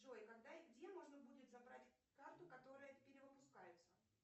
джой когда и где можно будет забрать карту которая перевыпускается